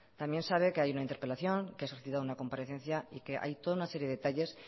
también sabe que hay una interpelación que ha solicitado una comparecencia y que hay toda una serie de detalles